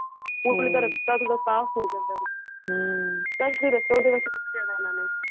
ਰਸਤਾ ਸਾਫ਼ ਮਿਲ ਜਾਂਦਾ ਏ